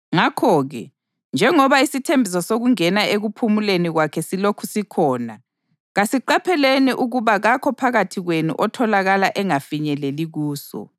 Ngakho-ke, njengoba isithembiso sokungena ekuphumuleni kwakhe silokhu sikhona, kasiqapheleni ukuba kakho phakathi kwenu otholakala engafinyeleli kuso.